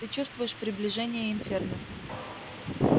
ты чувствуешь приближение инферно